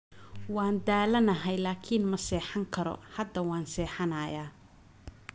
Waan daalanahay laakiin ma seexan karo, hadda waan seexanayaa.